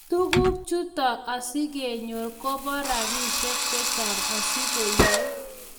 tuguk chuto asigenyor koba robishek chechang asigoyei